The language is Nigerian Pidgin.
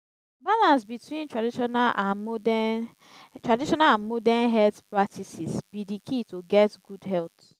balance between traditional and modern traditional and modern health practices be de key to get good health.